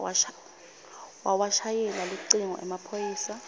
wawashayela lucingo emaphoyisa